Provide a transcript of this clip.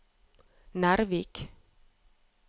Nervik